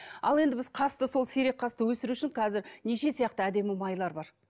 ал енді біз қасты сол сирек қасты өсіру үшін қазір неше сияқты әдемі майлар бар